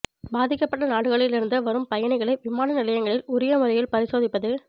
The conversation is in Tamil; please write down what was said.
பாதிக்கப்பட்ட நாடுகளில் இருந்து வரும் பயணிகளை விமானநிலையங்களில் உரிய முறையில் பரிசோதிப்பது